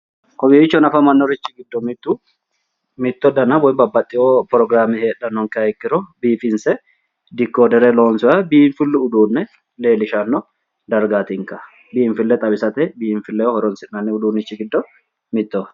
Kowiichonorichi afamannori giddo mittu mitto dana woy babbaxxeyo pirogiraame heedhannonkeha ikkiro biifinse dikkoddere lonsoonniha biinfillu uduunne leellishanno dargaatikka biinfille xawisannori giddo mittoho